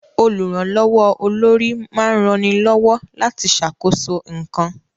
Olùrànlọ́wọ́ olórí máa ń rani lọ́wọ́ láti ṣàkóso nǹkan